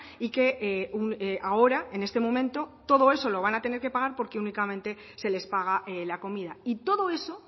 y que ahora en este momento todo eso lo van a tener que pagar porque únicamente se les paga la comida y todo eso